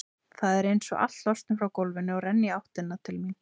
Það er einsog allt losni frá gólfinu og renni í áttina til mín.